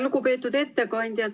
Lugupeetud ettekandja!